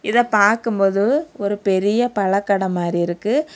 இத பாக்கும்போது ஒரு பெரிய பழக்கடை மாறி இருக்கு.